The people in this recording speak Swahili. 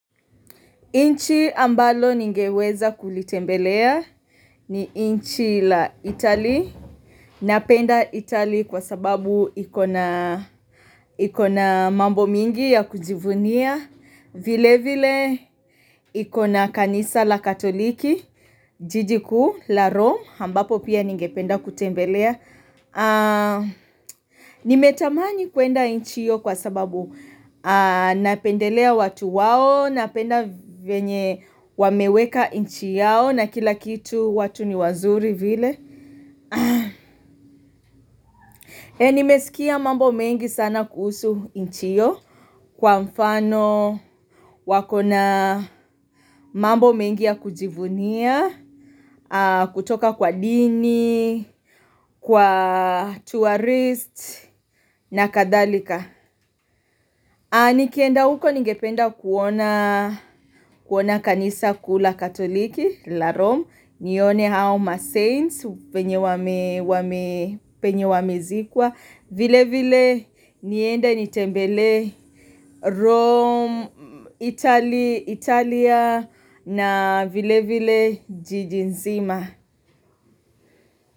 Inchi ambalo ningeweza kulitembelea ni inchi la itali. Napenda itali kwa sababu iko na mambo mingi ya kujivunia. Vile vile ikona kanisa la katoliki, jiji kuu la rome. Ambapo pia ningependa kutembelea. Nimetamani kuenda inchi hiyo kwa sababu napendelea watu wao. Napenda venye wameweka inchi yao na kila kitu watu ni wazuri vile Nimesikia mambo mengi sana kuhusu inchi hiyo Kwa mfano wakona mambo mengi ya kujivunia kutoka kwa dini, kwa tourist na kadhalika Nikienda huko ningependa kuona kanisa kuu la katoliki la Rome, nione hao ma saints venye wame penye wamizikwa vile vile nienda nitembelee Rome, Italy, Italia na vile vile jiji nzima.